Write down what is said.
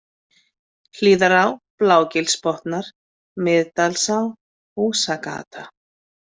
Hlíðará, Blágilsbotnar, Miðdalsá, Húsagata